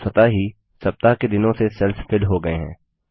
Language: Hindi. स्वतः ही सप्ताह के दिनों से सेल्स फिल हो गए हैं